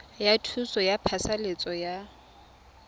ya thuso ya phasalatso ya